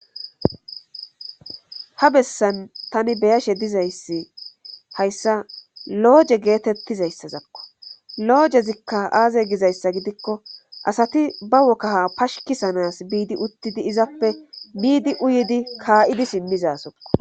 ha bessan tani beyashe dizayssi hayssa looje geetettizayssazakko loojezikka aaze gizayssa gidikko asati ba wokkaha pashkisanas biidi uttidi izappe miidi uyidi kaa7idi simmizasokko